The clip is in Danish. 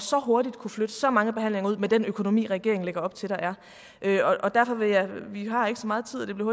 så hurtigt at kunne flytte så mange behandlinger ud med den økonomi regeringen lægger op til der er derfor vil jeg vi har ikke så meget tid og det bliver